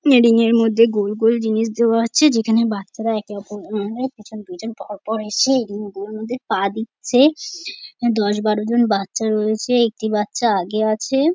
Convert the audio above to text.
Railing -এর মধ্যে গোলগোল জিনিস দেওয়া আচ্ছে যেখানে বাচ্চারা একে অপর পিছন পিছন পরপর এসে এগুনোর মধ্যে পা দিচ্ছে দশ বারো জন বাচ্চা রয়েছে একটি বাচ্চা আগে আছে-এ।